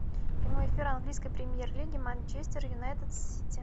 прямой эфир английской премьер лиги манчестер юнайтед с сити